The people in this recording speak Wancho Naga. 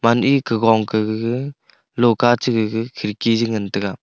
gaman ee ka gong ka gaga lohka cha gag khidki chi ngantaga.